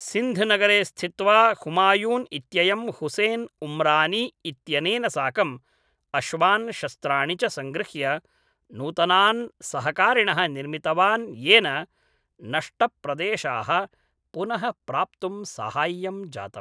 सिन्ध् नगरे स्थित्वा हुमायून् इत्ययं हुसेन् उम्रानी इत्यनेन साकं अश्वान् शस्त्राणि च सङ्गृह्य नूतनान् सहकारिणः निर्मितवान् येन नष्टप्रदेशाः पुनः प्राप्तुं साहाय्यं जातम्।